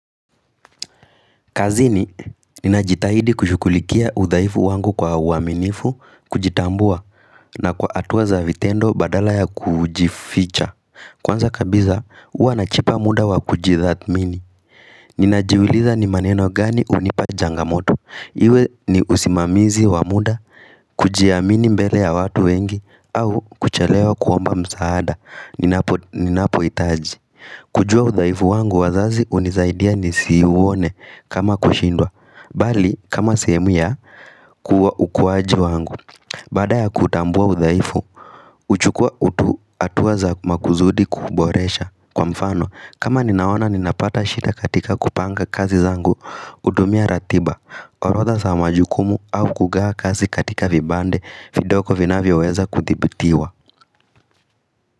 Kazini, ninajitahidi kushughulikia udhaifu wangu kwa uaminifu, kujitambua, na kwa hatua za vitendo badala ya kujificha. Kwanza kabisa, huwa najipa muda wa kujidhamini. Ninajiuliza ni maneno gani hunipa changamoto. Iwe ni usimamizi wa muda, kujiamini mbele ya watu wengi, au kuchelewa kuomba msaada. Ninapo itaji. Kujua uthaifu wangu wazazi unizaidia nisi uone kama kushindwa mbali kama sehemu ya kua ukuwaji wangu Baada ya kuutambua udhaifu huchukua hatua za maksudi kuboresha; Kwa mfano kama ninaona ninapata shida katika kupanga kazi zangu Ninapo hitaji. Kujua udhaifu wangu wazazi hunisaidia nisi uone kama kushindwa.